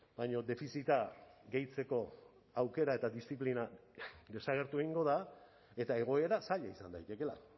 baina defizita gehitzeko aukera eta diziplina desagertu egingo da eta egoera zaila izan daitekeela